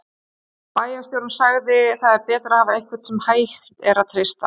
Bæjarstjórinn sagði: Það er betra að hafa einhvern sem hægt að treysta.